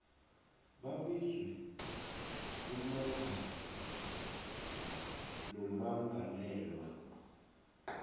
babizwe ummangali nommangalelwa